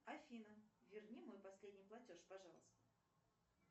афина верни мой последний платеж пожалуйста